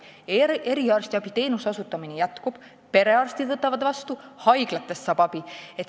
Eriarstiabi teenuse osutamine jätkub, perearstid võtavad inimesi vastu ja haiglatest saab abi.